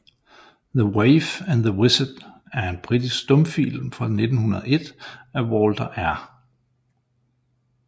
The Waif and the Wizard er en britisk stumfilm fra 1901 af Walter R